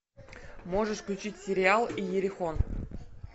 можешь включить сериал иерихон